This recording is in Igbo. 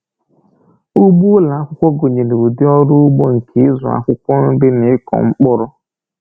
Ugbo ụlọ akwụkwọ gụnyere ụdị ọrụ ugbo nke ịzụ akwụkwọ nri na ịkụ mkpụrụ.